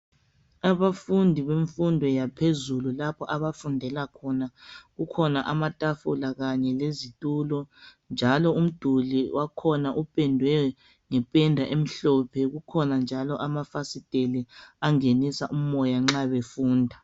Abafundi bemfundo yaphezulu, lapha abafundela khona, kukhona amatafula kanye lezitulo. Njalo umduli wakhona upendwe ngependa emhlophe. Kukhona njalo amafasitele, angenisa umoya nxa befunda.